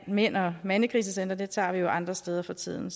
mænd og mandekrisecentre tager vi jo andre steder for tiden